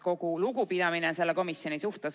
Kogu lugupidamine selle komisjoni suhtes!